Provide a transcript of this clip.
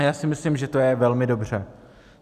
A já si myslím, že to je velmi dobře.